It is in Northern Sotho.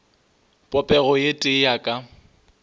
popego ye tee ya ka